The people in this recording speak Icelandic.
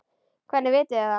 Hvernig vitið þið það?